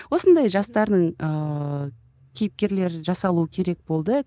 осындай жастардың ыыы кейіпкерлер жасалуы керек болды